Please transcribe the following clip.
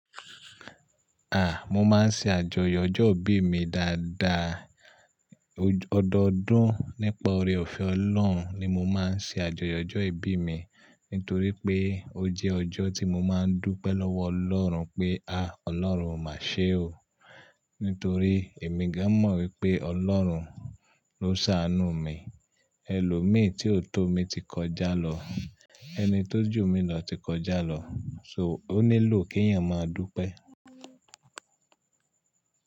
À, mo máa ń ṣe àjọyọ̀ ọjọ́ ìbí mi dáadáa. Ọdọọdún nípa oore-ọ̀fẹ́ Ọlọ́run ni mo máa ń ṣe àjọyọ̀ ọjọ́ ìbí mi, nítorí pé ó jẹ́ ọjọ́ tí mo máa ń dúpẹ́ lọ́wọ́ Ọlọ́run pé, "À, Ọlọ́run, o máa ṣe o." Nítorí èmi gan mọ̀ wípé Ọlọ́run ló ṣàánú mi. Ẹlòmíì tí ó tó mi ti kọjá lọ, ẹni tó jù mí lọ ti kọjá lọ, so ó nílò kí èyàn máa dúpẹ́.